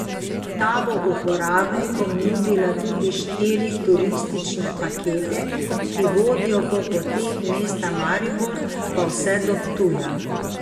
Ta bo uporabnikom nudila tudi štiri turistične pakete, ki vodijo po poteh mesta Maribor, pa vse do Ptuja.